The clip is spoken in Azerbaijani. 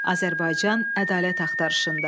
Azərbaycan ədalət axtarışında.